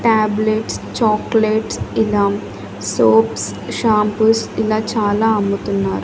tablets chocolates ఇలా soaps shampoos ఇలా చాలా అమ్ముతున్నా--